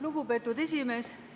Lugupeetud esimees!